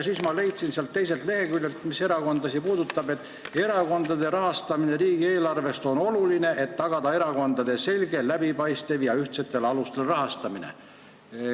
Leidsin ühelt teiselt leheküljelt, mis erakondasid puudutab, et erakondade rahastamine riigieelarvest on oluline, et tagada erakondade selge, läbipaistev ja ühtsetel alustel rahastamine.